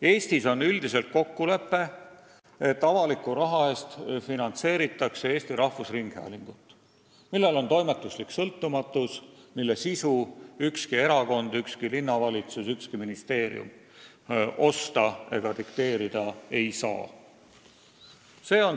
Eestis on üldiselt kokkulepe, et avaliku rahaga finantseeritakse Eesti Rahvusringhäälingut, millel on toimetuslik sõltumatus, st mille sisu ükski erakond, ükski linnavalitsus, ükski ministeerium osta ega dikteerida ei saa.